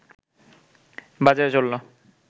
বাজারে চলল